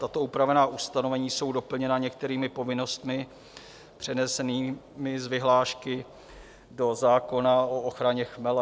Tato upravená ustanovení jsou doplněna některými povinnostmi přenesenými z vyhlášky do zákona o ochraně chmele.